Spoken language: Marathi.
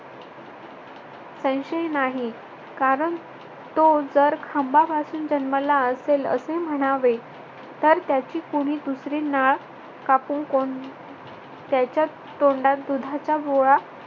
संशय नाही कारण तो जर खांबापासून जन्मला असेल असे म्हणावे, तर त्याची कुणी दुसरी नाळ कापून कोण त्याच्या तोंडात दुधाचा गोळा